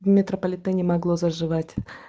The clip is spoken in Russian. в метрополитене могла заживать